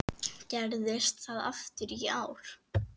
Gerðist það aftur í ár.